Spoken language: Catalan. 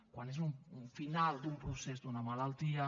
quan és un final d’un procés d’una malaltia